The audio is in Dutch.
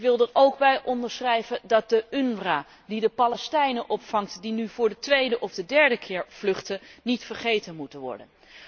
Ik wil er ook bij onderschrijven dat de UNRWA, die de Palestijnen opvangt die nu voor de tweede of derde keer vluchten, niet vergeten mag worden.